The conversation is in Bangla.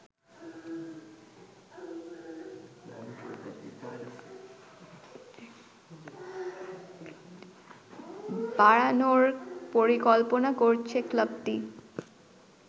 বাড়ানোর পরিকল্পনা করছে ক্লাবটি